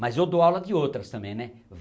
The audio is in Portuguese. Mas eu dou aula de outras também, né?